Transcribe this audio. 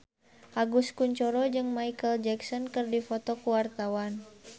Agus Kuncoro jeung Micheal Jackson keur dipoto ku wartawan